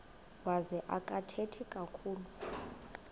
wazo akathethi kakhulu